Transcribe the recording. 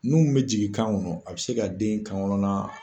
Nun min bɛ jigin kan kɔnɔ a bɛ se ka den kankɔnɔna